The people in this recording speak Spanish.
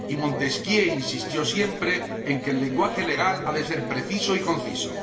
Y Montesquieu insistió siempre en que el lenguaje legal ha de ser preciso y conciso.